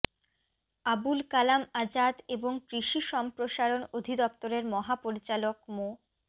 আবুল কালাম আযাদ এবং কৃষি সম্প্রসারণ অধিদপ্তরের মহাপরিচালক মো